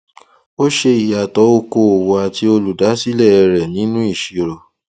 a ṣe ìyàtọ okòòwò àti olùdásílẹ rẹ nínú ìṣirò